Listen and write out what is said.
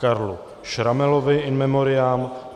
Karlu Schrammelovi in memoriam